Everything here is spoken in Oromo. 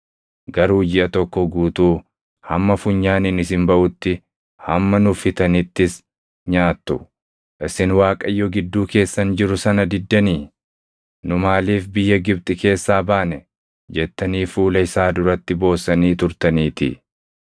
garuu jiʼa tokko guutuu hamma funyaaniin isin baʼutti, hamma nuffitanittis nyaattu; isin Waaqayyo gidduu keessan jiru sana diddanii, “Nu maaliif biyya Gibxi keessaa baane?” jettanii fuula isaa duratti boossanii turtaniitii.’ ”